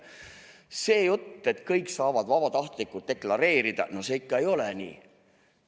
See jutt, et kõik saavad vabatahtlikult deklareerida – no see ikka ei ole nii.